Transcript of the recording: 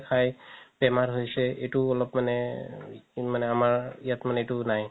খাই বেমাৰ হৈছে এইটো অলপ মানে আমাৰ ইয়াত মানে এইটো নাই